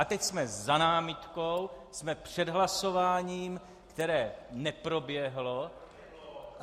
A teď jsme za námitkou, jsme před hlasováním, které neproběhlo.